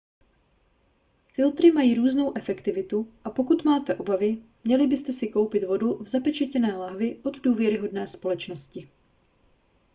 filtry mají různou efektivitu a pokud máte obavy měli byste si koupit vodu v zapečetěné lahvi od důvěryhodné společnosti